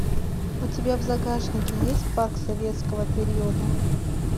у тебя в загашнике есть парк советского периода